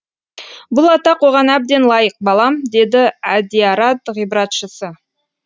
бұл атақ оған әбден лайық балам деді әдиярат ғибратшысы